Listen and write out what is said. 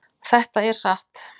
Þetta er satt